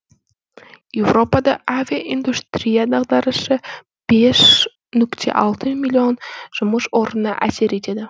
еуропада авиаиндустрия дағдарысы бес нүкте алты миллион жұмыс орнына әсер етеді